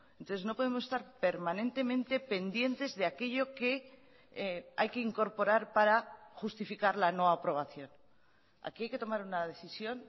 entonces no podemos estar permanentemente pendientes de aquello que hay que incorporar para justificar la no aprobación aquí hay que tomar una decisión